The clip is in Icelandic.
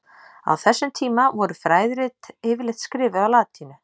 Á þessum tíma voru fræðirit yfirleitt skrifuð á latínu.